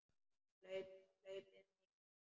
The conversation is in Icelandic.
Hlaupið mikla